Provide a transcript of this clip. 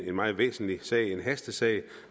en meget væsentlig sag en hastesag